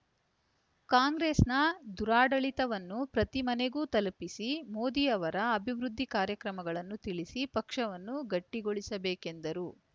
ಕಾಂಗ್ರೆಸ್‌ನ ದುರಾಡಳಿತವನ್ನು ಪ್ರತಿ ಮನೆಗೂ ತಲುಪಿಸಿ ಮೋದಿ ಅವರ ಅಭಿವೃದ್ದಿ ಕಾರ್ಯಗಳನ್ನು ತಿಳಿಸಿ ಪಕ್ಷವನ್ನು ಗಟ್ಟಿಗೊಳಿಸಬೇಕೆಂದರು